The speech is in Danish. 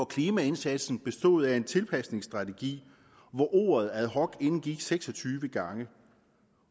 klimaindsatsen bestod af en tilpasningsstrategi hvor ordet ad hoc indgik seks og tyve gange